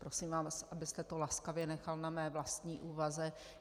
Prosím vás, abyste to laskavě nechal na mé vlastní úvaze.